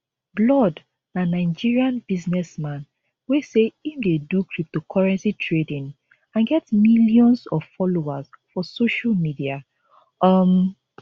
blord na nigerian businessman wey say im dey do cryptocurrency trading and get millions of followers for social media um